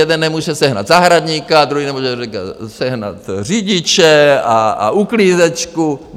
Jeden nemůže sehnat zahradníka, druhý nemůže sehnat řidiče a uklízečku.